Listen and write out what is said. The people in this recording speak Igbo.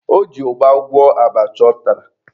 O ji ụgba gwọọ abacha ọ tara.